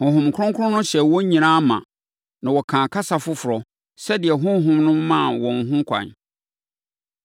Honhom Kronkron no hyɛɛ wɔn nyinaa ma, na wɔkaa kasa foforɔ, sɛdeɛ Honhom no maa wɔn ho kwan.